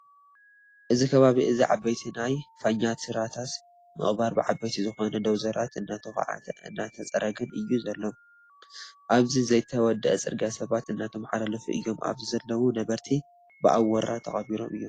እዚ ከባቢ እዚ ዓበይቲ ናይ ፋኛትራታት ምቅባር ብዓበይቲ ዝኮና ደውዘራት እንዳተዃዓተ እንዳተፀረገን እዩ ዘሎ። ኣብቲ ዘይተወደኣ ፅርግያ ሰባት እንዳተማሓላለፉ እዮም። ኣብዚ ዘለው ነበርቲ ብኣወራ ተቀቢሮም እዮም።